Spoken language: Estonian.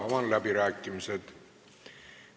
Avan läbirääkimised.